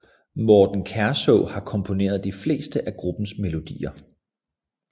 Morten Kærså har komponeret de fleste af gruppens melodier